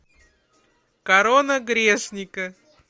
корона грешника